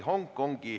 Tundub, et võime.